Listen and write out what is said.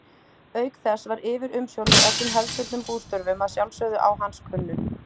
Auk þess var yfirumsjón með öllum hefðbundnum bústörfum að sjálfsögðu á hans könnu.